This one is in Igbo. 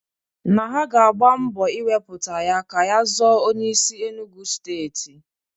Na ha ga-agba mbọ iwepụta ya ka ya zọọ onyeisi Enugwu steeti.